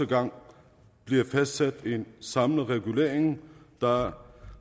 gang bliver fastsat en samlet regulering der er